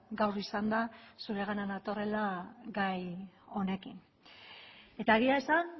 gaur izan da zuregana natorrela gai honekin eta egia esan